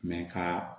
ka